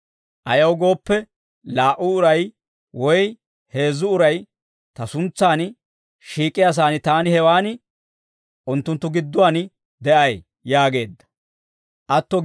Ayaw gooppe, laa"u uray woy heezzu uray ta suntsaan shiik'iyaasaan, taani hewaan unttunttu gidduwaan de'ay» yaageedda.